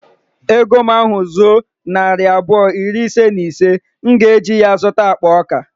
Ego m ahu zuo nayira narị abụọ iri ise na ise, m ga eji ya zụta akpa ọka